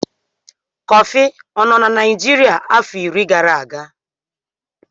Kọfị ọ nọ na Naijiria afọ iri gara aga.